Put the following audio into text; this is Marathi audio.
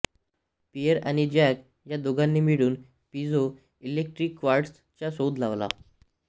पिएर आणि जॅक या दोघांनी मिळून पिझो इलेक्ट्रिक क्वार्ट्झ चा शोध लावला